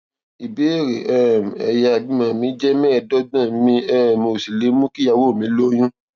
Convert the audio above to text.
ìbéèrè um èyà ìbímọ mi jé méèédógbòn mi um ò sì lè mú kí ìyàwó mi lóyún